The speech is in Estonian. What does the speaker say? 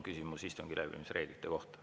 Küsimus istungi läbiviimise reeglite kohta.